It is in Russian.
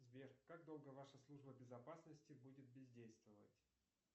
сбер как долго ваша служба безопасности будет бездействовать